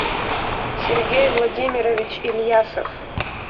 сергей владимирович ильясов